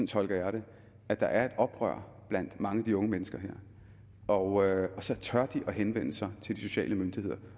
tolker jeg det at der er et oprør blandt mange af de unge mennesker her og så tør de at henvende sig til de sociale myndigheder